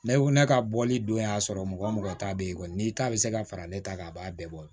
Ne ko ne ka bɔli don y'a sɔrɔ mɔgɔ mɔgɔ ta bɛ ye kɔni n'i ta bɛ se ka fara ne ta kan a b'a bɛɛ bɔ